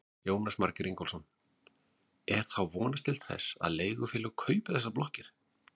Jónas Margeir Ingólfsson: Er þá vonast til þess að leigufélög kaupi þessar blokkir?